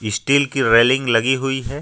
Steel की railing लगी हुई है।